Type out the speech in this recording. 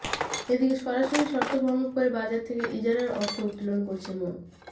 এদিকে সরকারি শর্ত ভঙ্গ করে বাজার থেকে ইজারার অর্থ উত্তোলন করছেন মো